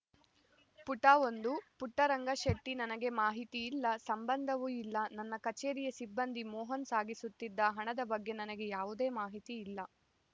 ಪುಟ ಒಂದು ಪುಟ್ಟರಂಗಶೆಟ್ಟಿ ನನಗೆ ಮಾಹಿತಿ ಇಲ್ಲ ಸಂಬಂಧವೂ ಇಲ್ಲ ನನ್ನ ಕಚೇರಿಯ ಸಿಬ್ಬಂದಿ ಮೋಹನ್‌ ಸಾಗಿಸುತ್ತಿದ್ದ ಹಣದ ಬಗ್ಗೆ ನನಗೆ ಯಾವುದೇ ಮಾಹಿತಿ ಇಲ್ಲ